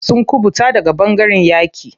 Sun kuɓuta daga ɓangaren yaƙi.